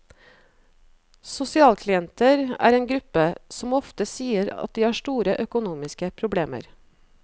Sosialklienter er en gruppe som ofte sier at de har store økonomiske problemer.